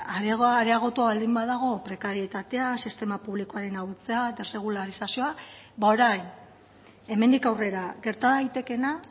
areagotua baldin badago prekarietatea sistema publikoaren ahultzea eta sekularizazioa ba orain hemendik aurrera gerta daitekeena